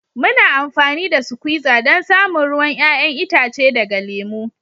Muna amfani da suquiza don samun ruwan 'ya'yan itace daga lemu.